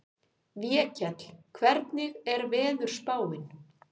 Vékell, hvernig er veðurspáin?